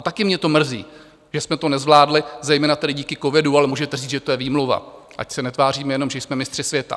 A také mě to mrzí, že jsme to nezvládli zejména tedy díky covidu, ale můžete říct, že to je výmluva, ať se netváříme jenom, že jsme mistři světa.